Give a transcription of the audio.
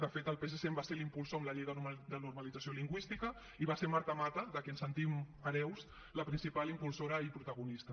de fet el psc en va ser ne impulsor amb la llei de normalització lingüística i va ser marta mata de qui ens sentim hereus la principal impulsora i protagonista